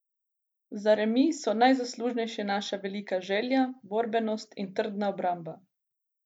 Za remi so najzaslužnejše naša velika želja, borbenost in trdna obramba.